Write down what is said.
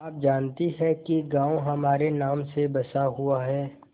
आप जानती हैं कि गॉँव हमारे नाम से बसा हुआ है